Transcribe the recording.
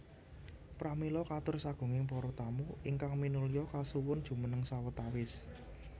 Pramila katur sagunging para tamu ingkang minulya kasuwun jumeneng sawetawis